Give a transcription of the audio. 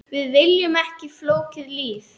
Við viljum ekki flókið líf.